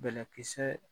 Bɛlɛkisɛ